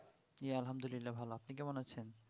এই আলহামদুলিল্লাহ ভালো আপনি কেমন আছেন?